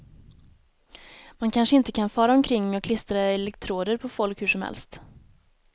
Man kanske inte kan fara omkring och klistra elektroder på folk hur som helst.